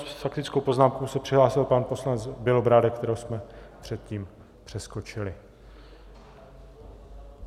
S faktickou poznámkou se přihlásil pan poslanec Bělobrádek, kterého jsme předtím přeskočili.